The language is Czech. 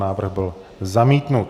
Návrh byl zamítnut.